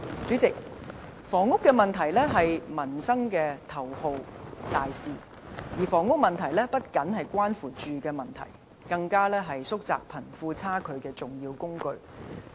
主席，房屋問題是民生的頭號大事，而房屋問題不僅關乎居住問題，更是縮窄貧富差距的重要工具。